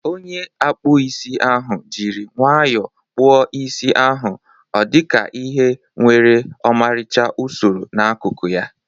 Onye ọkpụ isi ahụ jiri nwayọọ kpụọ isi ahụ ọdika ihe nwere ọmarịcha usoro n'akụkụ ya.